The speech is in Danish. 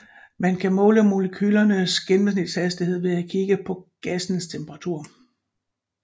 Man kan måle molekylernes gennemsnitshastighed ved at kigge på gassens temperatur